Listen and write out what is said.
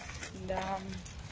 да